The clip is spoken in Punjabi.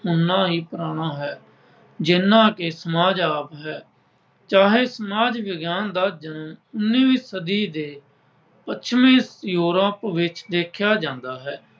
ਉਹਨਾਂ ਹੀ ਪੁਰਾਣਾ ਹੈ ਜਿੰਨਾ ਕਿ ਸਮਾਜ ਆਪ ਹੈ। ਚਾਹੇ ਸਮਾਜ ਵਿਗਿਆਨ ਦਾ ਜਨਮ ਉੱਨ੍ਹੀਵੀਂ ਸਦੀ ਦੇ ਪੱਛਮੀ ਦੇਖਿਆ ਜਾਂਦਾ ਹੈ।